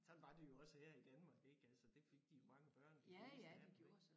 Sådan var det jo også her i Danmark ik altså det fik de jo mange børn de fleste af dem ik